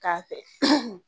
K'a fɛ